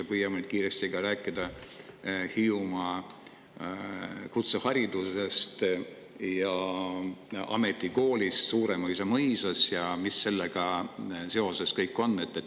Ja püüame nüüd kiiresti rääkida ka Hiiumaa kutseharidusest ja ametikoolist Suuremõisa mõisas, mis sellega seoses kõik on.